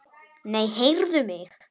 Nei, heyrðu mig.